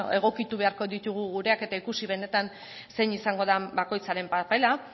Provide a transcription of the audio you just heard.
egokitu beharko ditugu gureak eta ikusi benetan zein izango den bakoitzaren papera